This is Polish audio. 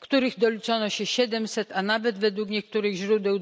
których doliczono się 700, a nawet według niektórych źródeł